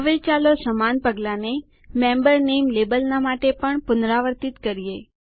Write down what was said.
હવે ચાલો સમાન પગલાંને મેમ્બર નામે લેબલના માટે પણ પુનરાવર્તિત કરીએ